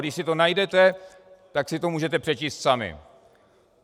Když si to najdete, tak si to můžete přečíst sami.